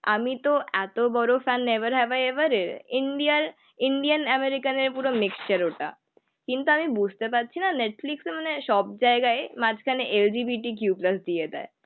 আমি তো এত বড় fun never have ever. India র আমেরিকা নিয়ে পুরো মিক্সচার ওটা. কিন্তু আমি বুঝতে পারছি না নেটফ্লিক্স মানে সব জায়গায় মাঝখানে LGBTQ প্লাস দিয়ে দেয়.